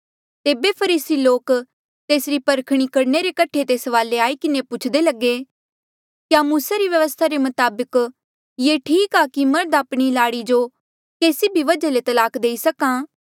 तेबे फरीसी लोक तेसरी परखणी करणे रे कठे तेस वाले आई किन्हें पुछदे लगे क्या मूसा री व्यवस्था रे मताबक ये ठीक आ कि मर्ध आपणी लाड़ी जो केसी भी वजहा ले तलाक देई सक्हा